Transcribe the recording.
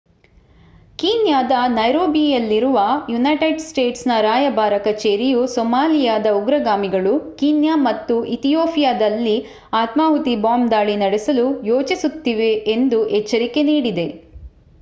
ಕೀನ್ಯಾದ ನೈರೋಬಿಯಲ್ಲಿರುವ United States ರಾಯಭಾರ ಕಚೇರಿಯು ಸೊಮಾಲಿಯಾದ ಉಗ್ರಗಾಮಿಗಳು ಕೀನ್ಯಾ ಮತ್ತು ಇಥಿಯೋಪಿಯಾದಲ್ಲಿ ಆತ್ಮಾಹುತಿ ಬಾಂಬ್ ದಾಳಿ ನಡೆಸಲು ಯೋಜಿಸುತ್ತಿದೆ ಎಂದು ಎಚ್ಚರಿಕೆ ನೀಡಿದೆ